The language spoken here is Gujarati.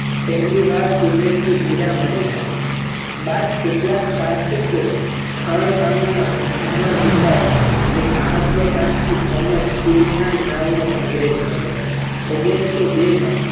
પહેલીવાર કુદરતી હીરો કેટલાક સાહસિક ખાણકામ ધંધા માં ઝુકાવ્યું એક મહત્વકાંક્ષી thomas ના નામના અંગ્રેજ હતા.